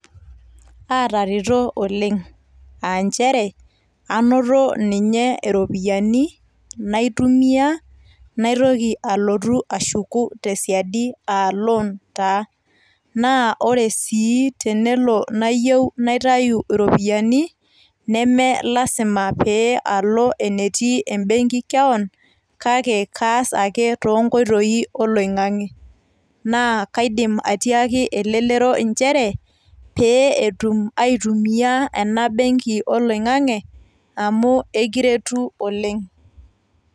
Aatareto oleng, aanchere ainoto ninye iropiyiani naitumia naitoki alotu ashuku tesiadi naa ore sii tenelo nayieu naitau iropiyiani nemelasima pee alo enetii embenki keon kake kaas ake toonkotoi oloingangi naa kaidimi atiaki elelero nchere peeetum ai tumia enabenki oloingangi amu ekiretu oleng